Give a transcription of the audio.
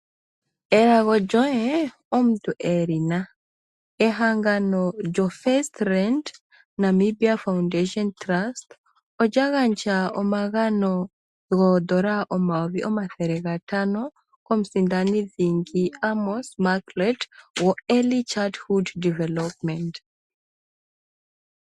Elago omuntu elina, Ehangano lyo First land Namibia foundation trust olya gandja omagano N$5000 komusindani dhingi Amos Meerkat wo Early childhood development.